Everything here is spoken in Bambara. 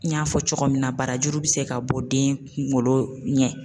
N y'a fɔ cogo min na barajuru bɛ se ka bɔ den kunkolo ɲɛ